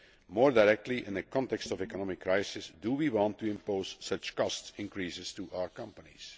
More directly, in the context of an economic crisis, do we want to impose such cost increases on our companies?